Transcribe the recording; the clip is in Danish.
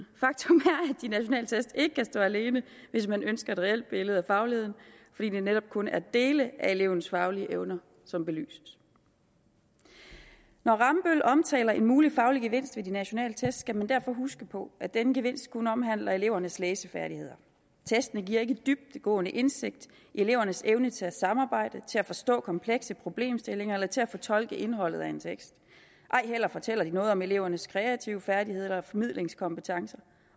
de nationale test ikke kan stå alene hvis man ønsker et reelt billede af fagligheden fordi det netop kun er dele af elevens faglige evner som belyses når rambøll omtaler en mulig faglig gevinst ved de nationale test skal man derfor huske på at denne gevinst kun omhandler elevernes læsefærdigheder testene giver ikke dybdegående indsigt i elevernes evne til at samarbejde til at forstå komplekse problemstillinger eller til at fortolke indholdet af en tekst ej heller fortæller de noget om elevernes kreative færdigheder eller formidlingskompetencer